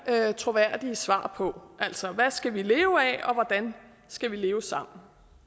troværdige svar på altså hvad skal vi leve af og hvordan skal vi leve sammen